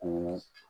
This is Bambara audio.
Ko